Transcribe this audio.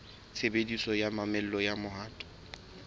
tshebediso ya mamello ya mohato